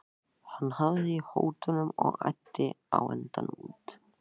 Hann hafði í hótunum og æddi á endanum út.